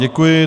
Děkuji.